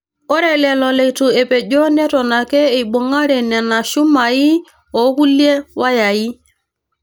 Ore lelo leitu epejo neton ake eibung'are Nena shumaii okulie wayai.